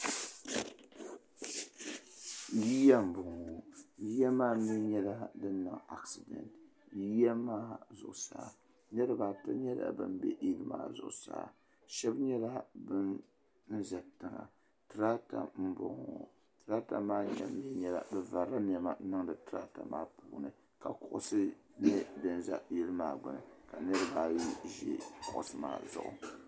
Yiya n bɔŋɔ yiya maani nyɛla din niŋ, acedant, yiya maa zuɣusaa niribi ata nyɛla ban be in maa zuɣu saa shabi nyɛla ban be tiŋa tarata n bɔŋɔ tarata maa mi nyɛmi bɛ varila nema n niŋdi tarata maa puuni ka kuɣisi nyɛ din ʒa yili aa gbuni ka niribi ayi nyɛ ban ʒi kuɣisi maa zuɣu.